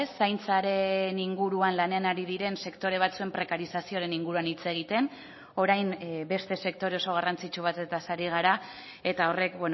zaintzaren inguruan lanean ari diren sektore batzuen prekarizazioaren inguruan hitz egiten orain beste sektore oso garrantzitsu batez ari gara eta horrek